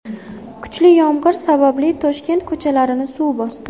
Kuchli yomg‘ir sababli Toshkent ko‘chalarini suv bosdi .